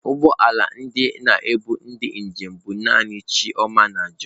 ụgbọ ala ndị na-ebu ndi njem bu naanị chioma na john.